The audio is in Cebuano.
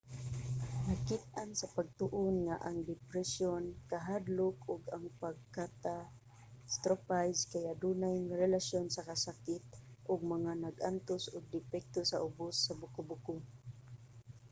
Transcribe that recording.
nakit-an sa pagtuon nga ang depresyon kahadlok ug ang pag-catastrophize kay adunay relasyon sa kasakit ug mga nag-antos og depekto sa ubos sa buko-buko